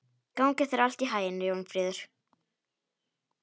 Gangi þér allt í haginn, Jónfríður.